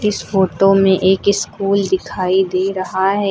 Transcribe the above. इस फोटो में एक स्कूल दिखाई दे रहा है।